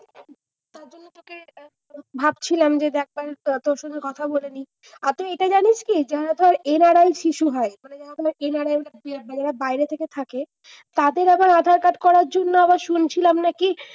ভাবছিলাম যে একবার তোর সাথে কথা বলে নি। আর তুই এটা জানিস কি? যারা ধর NRI শিশু হয়। মানে যারা NRI যারা বাইরের দেশে থাকে, তাদের আবার আধার-কার্ড করার জন্য আবার শুনেছিলাম নাকি,